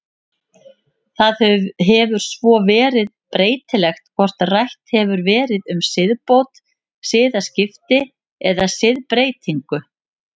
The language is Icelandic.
Það hefur svo verið breytilegt hvort rætt hefur verið um siðbót, siðaskipti eða siðbreytingu.